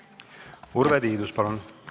Urve Tiidus, palun!